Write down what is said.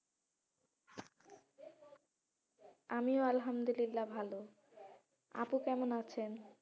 আমিও আলহামদুলিল্লাহ ভালো আপু কেমন আছে?